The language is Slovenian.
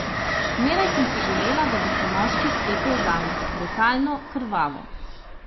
Zmeraj sem si želela, da bi se moški stepel zame, brutalno, krvavo.